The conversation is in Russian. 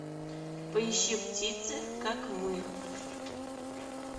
поищи птицы как мы